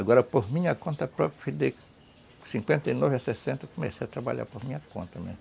Agora, por minha conta própria, de cinquenta e nove a sessenta, eu comecei a trabalhar por minha conta, né.